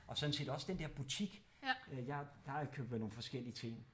Og sådan set også den dér butik øh jeg plejer at købe nogle forskellige ting